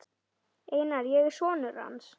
Einar, ég er sonur. hans.